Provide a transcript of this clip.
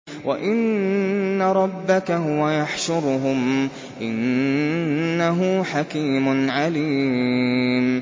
وَإِنَّ رَبَّكَ هُوَ يَحْشُرُهُمْ ۚ إِنَّهُ حَكِيمٌ عَلِيمٌ